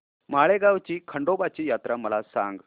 माळेगाव ची खंडोबाची यात्रा मला सांग